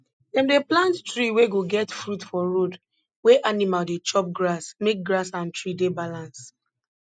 dem dey plant tree wey go get fruit for road wey animal dey chop grass make grass and tree dey balance